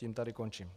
Tím tady končím.